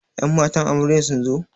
Ƴan matan amarya sunzo?